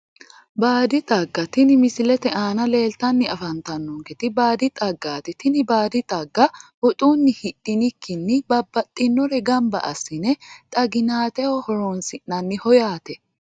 Baadi xagga tini misilete aana leeltanni afantannonketi baadi xaggaati tini baadi xagga woxunni hidhinikkinni babbaxxinore gamba assine xaginateho horonsi'nanniho yaate